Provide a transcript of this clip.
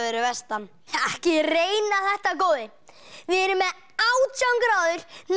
vestan ekki reyna þetta góði við erum með átján gráður